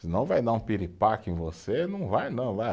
Se não vai dar um piripaque em você, não vai não, vai